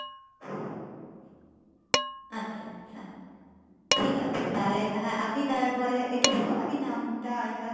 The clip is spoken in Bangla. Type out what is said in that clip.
আচ্ছা আচ্ছা ঠিক আছে তাহলে হ্যাঁ আপনি তারপরে একটু বলুন. আমি নামটা আর এটা